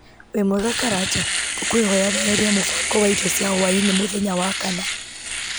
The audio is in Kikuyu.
wĩ mwega karanja ngũkwĩhoya weherie mũbango wa irio cia hwaĩ-inĩ mũthenya wa kana